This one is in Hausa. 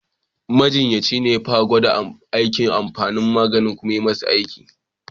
Majinyacin ne ya fara gwada amfani da maganin kum ya yi masa aiki.